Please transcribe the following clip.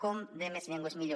com més llengües millor